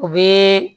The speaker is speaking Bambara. U bi